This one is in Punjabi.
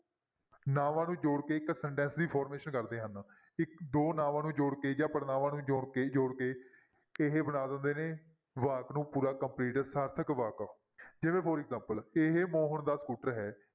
ਨਾਂਵਾਂ ਨੂੰ ਜੋੜ ਕੇ ਇੱਕ sentence ਦੀ formation ਕਰਦੇ ਹਨ, ਇੱਕ ਦੋ ਨਾਂਵਾਂ ਨੂੰ ਜੋੜ ਕੇ ਜਾਂ ਪੜਨਾਵਾਂ ਨੂੰ ਜੋੜ ਕੇ ਜੋੜ ਕੇ ਇਹ ਬਣਾ ਦਿੰਦੇ ਨੇ ਵਾਕ ਨੂੰ ਪੂਰਾ complete ਸਾਰਥਕ ਵਾਕ ਜਿਵੇਂ for example ਇਹ ਮੋਹਨ ਦਾ ਸਕੂਟਰ ਹੈ।